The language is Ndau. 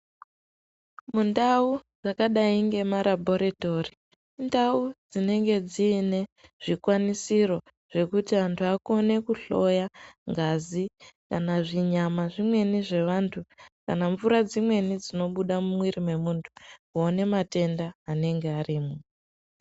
Mundau dzakadai ngemarabharitori indau dzinenge dziine zvikwanisiro zvekuti anhu akone kuhloya ngazi, kana zvinyama zvimweni zvevantu, kana mvura dzimweni dzinobuda mumwiri wemunhu kuone matenda anenge arimo.